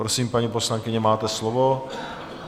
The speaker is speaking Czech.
Prosím, paní poslankyně, máte slovo.